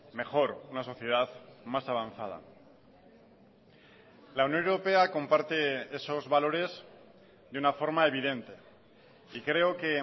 mejor una sociedad más avanzada la unión europea comparte esos valores de una forma evidente y creo que